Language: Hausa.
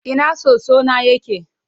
Ina soso na yake?